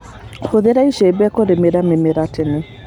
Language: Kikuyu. Hũthĩra icembe kũrĩmĩra mĩmera tene.